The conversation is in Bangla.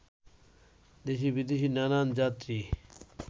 দেশি-বিদেশি নানান যাত্রী